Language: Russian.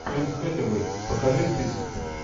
энн хэтэуэй покажи список